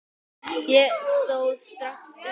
Ég stóð strax upp.